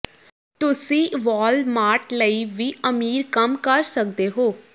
ਤੁਸੀਂ ਵਾਲਮਾਰਟ ਲਈ ਵੀ ਅਮੀਰ ਕੰਮ ਕਰ ਸਕਦੇ ਹੋ